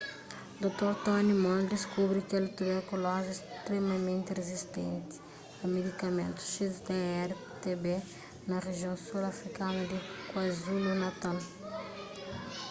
dr. tony moll deskubri kel tuberkulozi stremamenti rizistenti a medikamentus xdr-tb na rijion sul afrikanu di kwazulu-natal